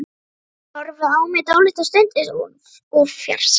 Hún horfði á mig dálitla stund eins og úr fjarska.